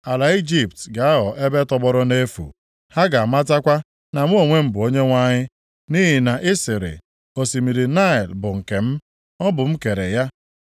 Ala Ijipt ga-aghọ ebe tọgbọrọ nʼefu; ha ga-amatakwa na mụ onwe m bụ Onyenwe anyị. “ ‘Nʼihi na ị sịrị, “Osimiri Naịl bụ nke m. Ọ bụ m kere ya.”